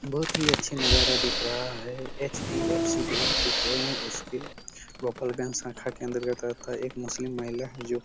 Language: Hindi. बहुत ही अच्छा नजारा दिख रहा हैं एच-डी-एफ-सी बैंक दिख रहा हैं उसके वोकल गन शाखा के अंतर्गत आता हैं एक मुस्लिम महिला जो--